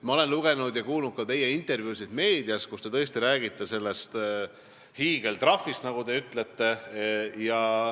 Ma olen lugenud ja kuulnud ka teie intervjuusid meedias, kui te räägite sellest hiigeltrahvist, nagu te ütlesite.